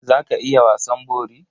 Za ka iya wasan bori?